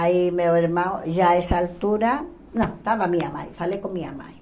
Aí meu irmão, já essa altura, não, estava minha mãe, falei com minha mãe.